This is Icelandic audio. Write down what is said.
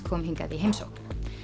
kom hingað í heimsókn